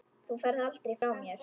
Þú ferð aldrei frá mér.